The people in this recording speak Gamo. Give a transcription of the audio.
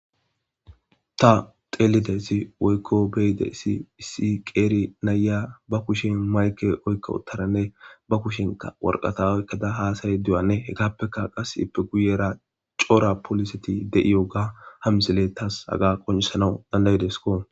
Ta xeelide si woykko beyide isi hisi qeeri nayya ba kushin mayke oykko utaranne ba kushinka worqata oykkada haasay duyanne hekappeka qas ippe guyera coora poliseti de7iyoga hamzele tas haga qoncisanau dandaydesko.